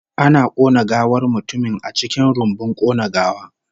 Ana kona gawar mutumin a cikin rumbun kona gawa